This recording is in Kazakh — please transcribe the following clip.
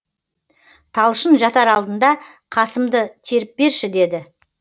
талшын жатар алдында қасымды теріп берші деді